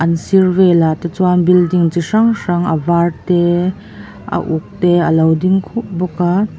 a sir velah te chuan building chi hrang hrang a var te a uk te a lo ding khup bawk a.